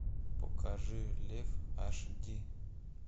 покажи лев аш ди